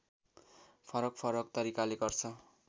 फरकफरक तरिकाले गर्छ